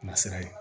Nasira ye